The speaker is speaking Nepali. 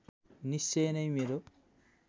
निश्चय नै मेरो